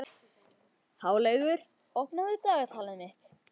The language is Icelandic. Háleygur, opnaðu dagatalið mitt.